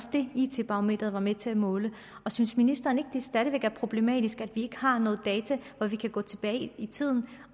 det it barometeret var med til at måle og synes ministeren ikke det stadig væk er problematisk at vi ikke har nogen data så vi kan gå tilbage i tiden